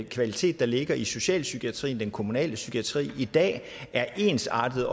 kvalitet der ligger i socialpsykiatrien den kommunale psykiatri i dag er ensartet